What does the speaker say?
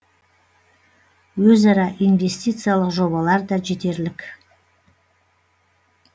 өзара инвестициялық жобалар да жетерлік